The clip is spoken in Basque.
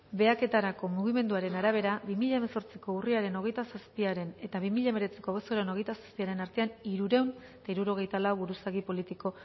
behaketarako mugimenduaren arabera bi mila hemezortziko urriaren hogeita zazpiaren eta bi mila hemeretziko abuztuaren hogeita zazpiaren artean hirurehun eta hirurogeita lau buruzagi politiko